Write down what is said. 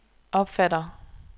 opfatter